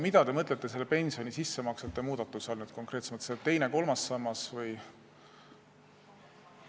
Mida te mõtlete pensioni sissemaksete muudatuse all konkreetsemalt, kas teist ja kolmandat sammast?